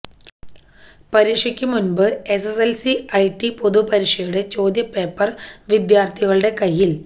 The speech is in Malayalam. പരീക്ഷയ്ക്കു മുമമ്പ എസ്എസ്എല്സി ഐടി പൊതു പരീക്ഷയുടെ ചോദ്യപേപ്പര് വിദ്യാര്ത്ഥികളുടെ കയ്യില്